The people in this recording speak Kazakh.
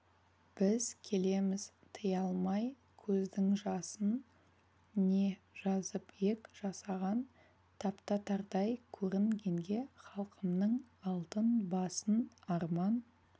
біз келеміз тыя алмай көздің жасын не жазып ек жасаған таптатардай көрінгенге халқымның алтын басын арман